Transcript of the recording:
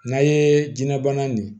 N'a ye jinɛ bana nin